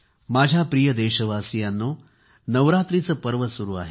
माझ्या प्रिय देशवासियांनो नवरात्रीचे पर्व सुरू आहे